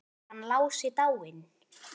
Er hann Lási dáinn?